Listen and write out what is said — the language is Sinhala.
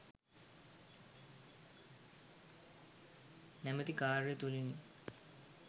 නමැති කාර්ය තුළිනි.